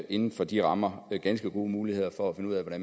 inden for de rammer ganske gode muligheder for at finde ud af